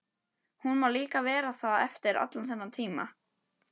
Hún má líka vera það eftir allan þennan tíma.